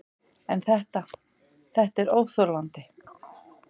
En þetta, þetta er óþolandi.